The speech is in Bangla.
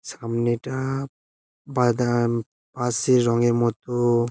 সামনেটা বাদাম আঁশের রঙের মতো।